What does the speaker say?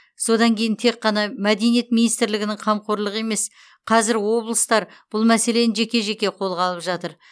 содан кейін тек қана мәдениет министрлігінің қамқорлығы емес қазір облыстар бұл мәселені жеке жеке қолға алып жатыр